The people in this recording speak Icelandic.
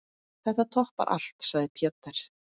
Þetta toppar allt, sagði Peter.